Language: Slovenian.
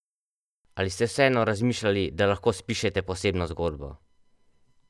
Ali ste vseeno razmišljali, da lahko spišete posebno zgodbo?